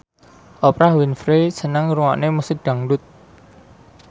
Oprah Winfrey seneng ngrungokne musik dangdut